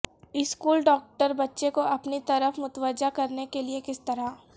school doctor بچے کو اپنی طرف متوجہ کرنے کے لئے کس طرح